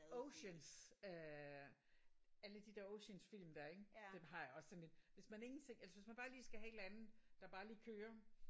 Ocean's øh alle de der Ocean's film der ik dem har jeg også sådan en hvis man ingenting altså hvis man bare lige skal have et eller andet der bare lige kører